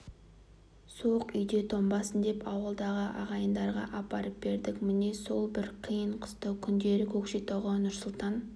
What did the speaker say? суық үйде тоңбасын деп ауылдағы ағайындарға апарып бердік міне сол бір қиын-қыстау күндері көкшетауға нұрсұлтан